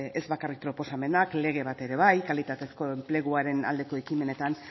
ez bakarrik proposamenak lege bat ere bai kalitatezko enpleguaren aldeko ekimenetan